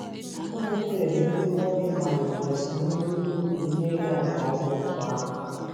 Ụmụ Páez ndị nwoke malite soro ribe ụrụ ihe ịga nke ọma otú ahụ